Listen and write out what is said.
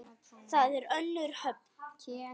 Þar er önnur höfn.